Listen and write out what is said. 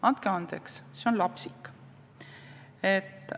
Andke andeks, see on lapsik!